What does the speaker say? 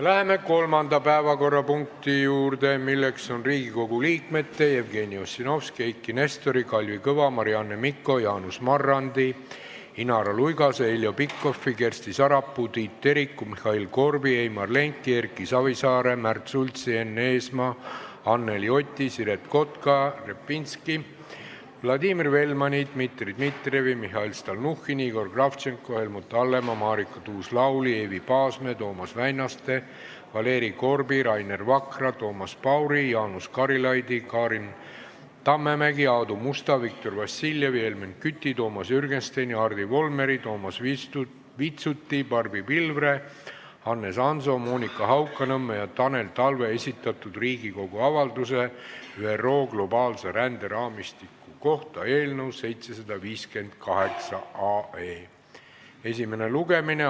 Läheme kolmanda päevakorrapunkti juurde, milleks on Riigikogu liikmete Jevgeni Ossinovski, Eiki Nestori, Kalvi Kõva, Marianne Mikko, Jaanus Marrandi, Inara Luigase, Heljo Pikhofi, Kersti Sarapuu, Tiit Teriku, Mihhail Korbi, Heimar Lengi, Erki Savisaare, Märt Sultsi, Enn Eesmaa, Anneli Oti, Siret Kotka-Repinski, Vladimir Velmani, Dmitri Dmitrijevi, Mihhail Stalnuhhini, Igor Kravtšenko, Helmut Hallemaa, Marika Tuus-Lauli, Eevi Paasmäe, Toomas Väinaste, Valeri Korbi, Rainer Vakra, Toomas Pauri, Jaanus Karilaidi, Karin Tammemäe, Aadu Musta, Viktor Vassiljevi, Helmen Küti, Toomas Jürgensteini, Hardi Volmeri, Toomas Vitsuti, Barbi Pilvre, Hannes Hanso, Monika Haukanõmme ja Tanel Talve esitatud Riigikogu avalduse "ÜRO globaalse ränderaamistiku kohta" eelnõu 758 esimene lugemine.